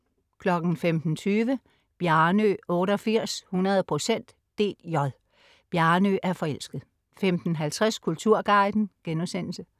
15.20 Bjarnø 88, 100 procent dj. Bjarnø er forelsket 15.50 Kulturguiden*